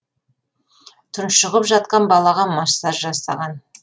тұншығып жатқан балаға массаж жасаған